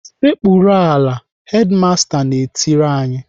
"Sekpuru ala!" Hedimasta na-etiri anyị.